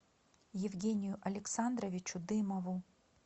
евгению александровичу дымову